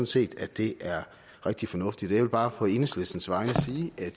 set at det er rigtig fornuftigt jeg vil bare på enhedslistens vegne sige at